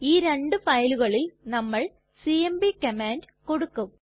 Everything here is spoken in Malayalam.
ഈ രണ്ടു ഫയലുകളിൽ നമ്മൾ സിഎംപി കമാൻഡ് കൊടുക്കും